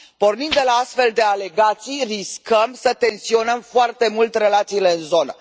Pornind de la astfel de alegații, riscăm să tensionăm foarte mult relațiile în zonă.